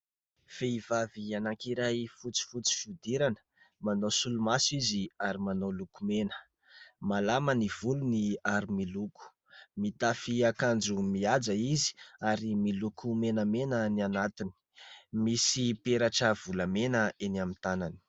Vehivavy anankiray fotsifotsy fihodirana ; manao solomaso izy ary manao lokomena ; malama ny volony ary miloko. Mitafy akanjo mihaja izy ary miloko menamena ny anatiny ; misy peratra volamena eny amin'ny tànany.